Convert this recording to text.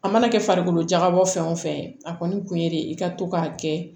A mana kɛ farikolo jagabɔ fɛn o fɛn ye a kɔni kun ye de i ka to k'a kɛ